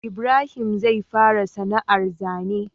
Ibrahim zai fara sana ar zane